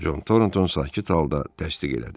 Con Toronton sakit halda dəstək elədi.